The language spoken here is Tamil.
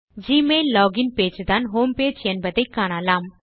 ஜிமெயில் லோகின் பேஜ் தான் ஹோம்பேஜ் என்பதை காணலாம்